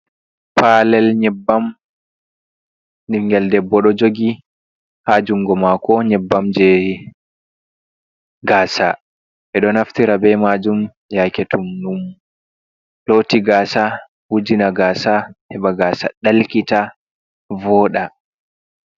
Falel nyebbam ɓingeel ɗebbo ɗo jogi ha jungo mako nyebbam jehi gasa, ɓeɗo naftira bei majum yake to ɗum loti gaasa wujina gasa heba gasa dalkita voda.